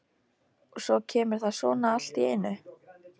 Og svo kemur það svona allt í einu.